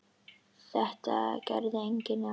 Þetta gerði enginn nema Sveinn.